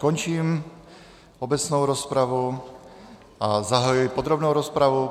Končím obecnou rozpravu a zahajuji podrobnou rozpravu.